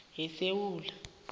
yesewula